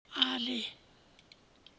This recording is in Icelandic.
Ali